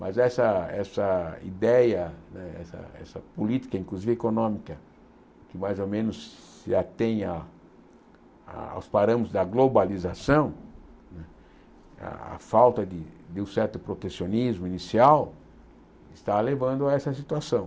Mas essa essa ideia eh, essa essa política, inclusive econômica, que mais ou menos se atém à aos parâmetros da globalização, a a falta de um certo protecionismo inicial, está levando a essa situação.